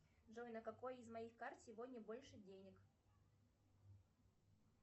джой на какой из моих карт сегодня больше денег